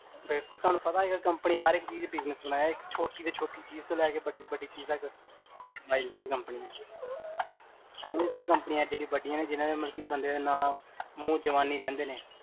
ਬਿਲਕੁਲ ਤੁਹਾਨੂ ਪਤਾ ਇਹ ਕੰਪਨੀ ਹਰੇਕ ਚੀਜ